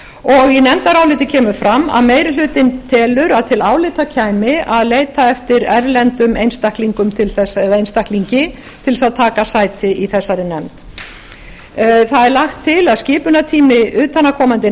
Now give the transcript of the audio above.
og í nefndaráliti kemur fram að meiri hlutinn telur að til álita kæmi að leita eftir erlendum einstaklingum eða einstaklingi til að taka sæti í þessari nefnd það er lagt til að skipunartími utanaðkomandi